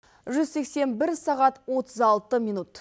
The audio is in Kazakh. жүз сексен бір сағат отыз алты минут